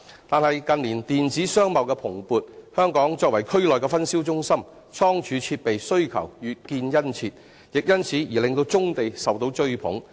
但是，近年電子商貿的蓬勃，香港作為區內分銷中心，倉儲設備需求越見殷切，亦因此而令棕地受到追捧。